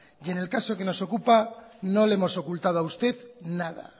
y en el caso que nos ocupa no le hemos ocultado a usted nada